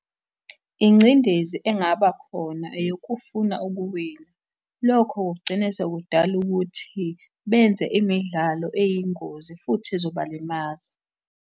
Ingcindezi engaba khona eyokufuna ukuwina, lokho kugcine sekudala ukuthi benze imidlalo eyingozi, futhi ezobalimaza.